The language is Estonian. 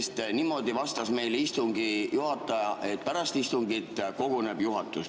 Istungi juhataja vastas meile niimoodi, et pärast istungit juhatus koguneb.